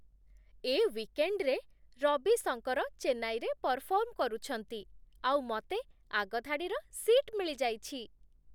ଏ ୱିକେଣ୍ଡ୍‌ରେ ରବି ଶଙ୍କର ଚେନ୍ନାଇରେ ପରଫର୍ମ କରୁଛନ୍ତି, ଆଉ ମତେ ଆଗ ଧାଡ଼ିର ସିଟ୍ ମିଳିଯାଇଚି!